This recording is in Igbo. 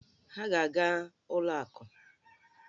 Ha ga-aga ụlọ akụ